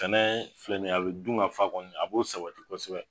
Sɛnɛ filɛ nin ye, a bi dungafa kɔni a b'o sabati kosɛbɛ